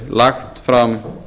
lagt fram